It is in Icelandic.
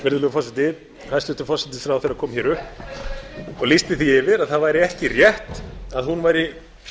virðulegur forseti hæstvirtur forsætisráðherra kom hér upp og lýsti því yfir að það væri ekki rétt að hún væri